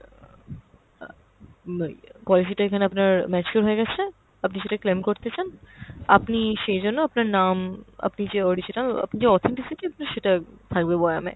অ্যাঁ মা~ ইয়ে~ পয়সাটা এখানে আপনার mature হয়ে গেছে, আপনি সেটা claim করতে চান, আপনি সেই জন্য আপনার নাম, আপনি যে original, আপনি যে authenticity আপনার সেটা থাকবে বয়ানে।